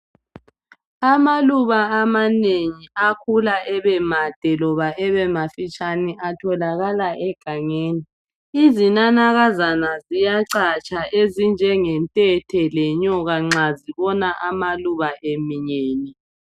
Amaluba amanengi akhula ebemade loba ebemafitshane atholakala egangeni. Izinanakazana ziyacatsha ezinjenge nthethe lenyoka nxa zibona amaluba eminyene.